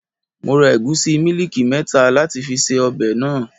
Mo ra ẹ̀gúsí mílíìkì mẹ́ta láti fi ṣe ọbẹ̀ náà.